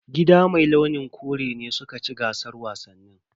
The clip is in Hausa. Gida mai launin kore ne suka ci gasar wasannin.